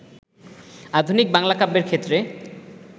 আধুনিক বাংলা কাব্যের ক্ষেত্রে